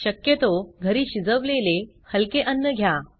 शक्यतो घरी शिजवलेले हलके अन्न घ्या